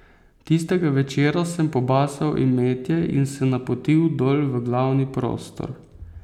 Tistega večera sem pobasal imetje in se napotil dol v glavni prostor.